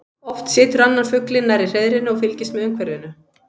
Oft situr annar fuglinn nærri hreiðrinu og fylgist með umhverfinu.